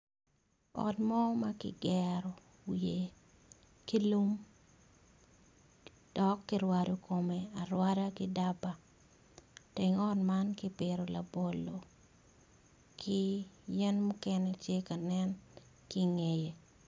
Ot mo makigero ki lum dok kirwado kome arwada ki daba teng ot man kipito labolo ki yen mukene tye kanen kingeye.